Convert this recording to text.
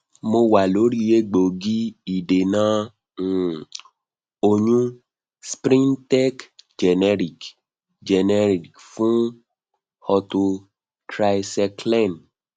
mo wa lori egboogi idena um oyun sprintec generic generic fun ortho tricyclen